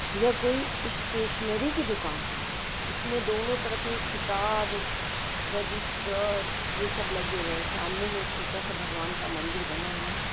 यह कोई स्टेशनरी की दूकान है। इसमे दोनों तरफ किताब रजिस्टर ये सब लगे हुए हैं। सामने मे एक छोटा-सा भगवान का मंदिर बना हुआ है।